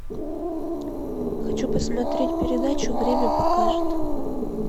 хочу посмотреть передачу время покажет